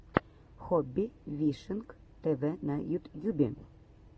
хобби фишинг тв на ютьюбе